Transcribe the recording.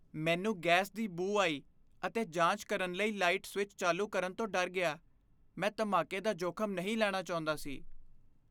ਮੈਨੂੰ ਗੈਸ ਦੀ ਬੂ ਆਈ ਅਤੇ ਜਾਂਚ ਕਰਨ ਲਈ ਲਾਈਟ ਸਵਿੱਚ ਚਾਲੂ ਕਰਨ ਤੋਂ ਡਰ ਗਿਆ। ਮੈਂ ਧਮਾਕੇ ਦਾ ਜੋਖ਼ਮ ਨਹੀਂ ਲੈਣਾ ਚਾਹੁੰਦਾ ਸੀ।